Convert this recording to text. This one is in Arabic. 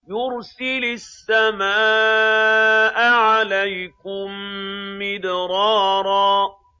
يُرْسِلِ السَّمَاءَ عَلَيْكُم مِّدْرَارًا